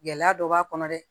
Gɛlɛya dɔ b'a kɔnɔ dɛ